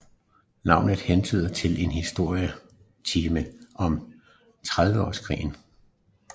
Navnet hentyder til en historietime om Trediveårskrigen